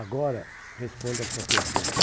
Agora respondo a sua pergunta.